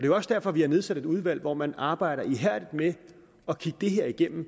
jo også derfor at vi har nedsat et udvalg hvor man arbejder ihærdigt med at kigge det her igennem